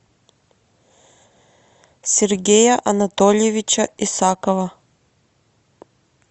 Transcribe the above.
сергея анатольевича исакова